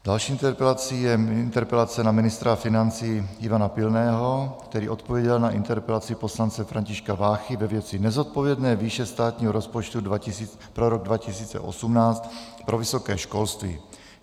Další interpelací je interpelace na ministra financí Ivana Pilného, který odpověděl na interpelaci poslance Františka Váchy ve věci nezodpovědné výše státního rozpočtu pro rok 2018 pro vysoké školství.